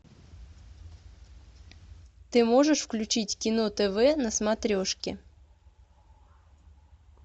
ты можешь включить кино тв на смотрешке